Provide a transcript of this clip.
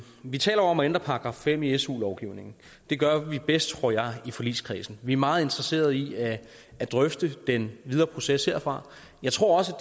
vi taler om at ændre § fem i su lovgivningen det gør vi bedst tror jeg i forligskredsen vi er meget interesserede i at drøfte den videre proces herfra jeg tror også